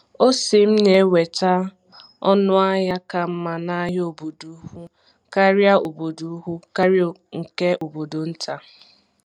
Ọse m na-enweta ọnụ ahịa ka mma n’ahịa obodo ukwu karịa obodo ukwu karịa nke obodo nta.